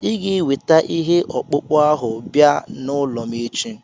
Ị ga-eweta ihe ọkpụkpụ ahụ bịa n'ụlọ m echi.